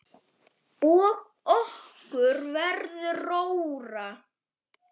Og okkur verður rórra.